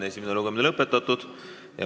Esimene lugemine on lõppenud.